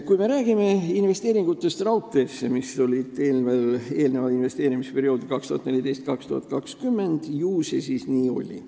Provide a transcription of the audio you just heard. Kui me räägime investeeringutest raudteesse investeerimisperioodil 2014–2020, siis ju see nii on olnud.